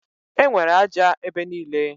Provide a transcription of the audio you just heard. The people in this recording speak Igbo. Enwere ájá ebe niile.